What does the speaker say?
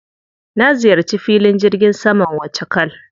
Na ziyarci filin jirgin saman Wachakal.